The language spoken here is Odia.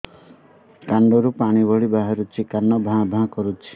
କାନ ରୁ ପାଣି ଭଳି ବାହାରୁଛି କାନ ଭାଁ ଭାଁ କରୁଛି